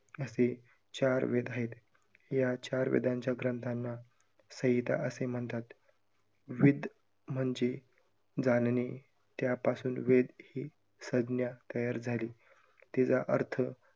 असे चार वेद आहे, या चार वेदांच्या ग्रंथांना संहिता असे म्हणतात. विद म्हणजे जाणणे, त्यापासून वेद ही संज्ञा तयार झाली, तिचा अर्थ